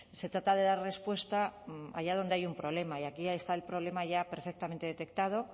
se trata de dar respuesta allá donde hay un problema y aquí está el problema ya perfectamente detectado